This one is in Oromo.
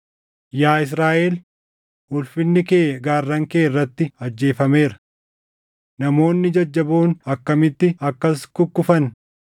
“Yaa Israaʼel, ulfinni kee gaarran kee irratti ajjeefameera. Namoonni jajjaboon akkamitti akkas kukkufan!